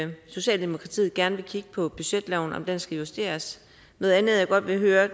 socialdemokratiet gerne vil kigge på om budgetloven skal justeres noget andet jeg godt vil høre